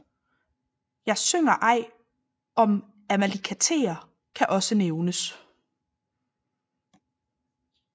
Jeg synger ej om Amalakiter kan også nævnes